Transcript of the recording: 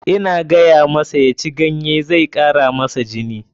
Ina gayamasa ya ci ganye, zai kara masa jini.